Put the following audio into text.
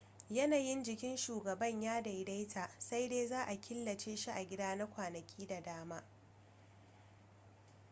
yanayin jikin shugaban ya daidaita sai dai za a killace shi a gida na kwanaki da dama